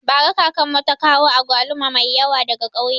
Bara kakanmu ta kawo agwaluma mai yawa daga kauye